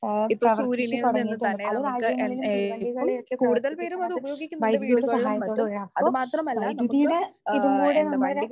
ആഹ് പ്രവർത്തിച്ചു തുടങ്ങിയിട്ടുണ്ട്. പല രാജ്യങ്ങളിലും തീവണ്ടികളെയൊക്കെ പ്രവർത്തിപ്പിക്കണത് വൈദ്യുതിയുടെ സഹായത്തോടെയാണ്. അപ്പൊ വൈദ്യുതിയുടെ ഇതും കൂടെ നമ്മുടെ